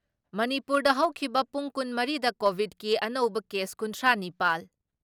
ꯃꯨꯅꯤꯄꯨꯔꯗ ꯍꯧꯈꯤꯕ ꯄꯨꯡ ꯀꯨꯟ ꯃꯔꯤ ꯗ ꯀꯣꯚꯤꯠꯀꯤ ꯑꯅꯧꯕ ꯀꯦꯁ ꯀꯨꯟꯊ꯭ꯔꯥ ꯅꯤꯄꯥꯜ